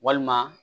Walima